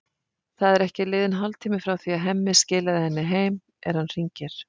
Það er ekki liðinn hálftími frá því að Hemmi skilaði henni heim er hann hringir.